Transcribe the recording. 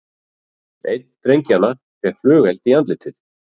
Einn drengjanna fékk flugeld í andlitið